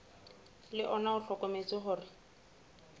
le ona o hlokometse hore